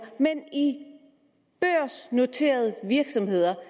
men i børsnoterede virksomheder